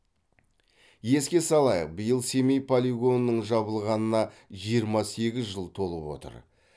еске салайық биыл семей полигонының жабылғанына жиырма сегіз жыл толып отыр